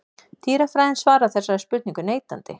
Dýrafræðin svarar þessari spurningu neitandi.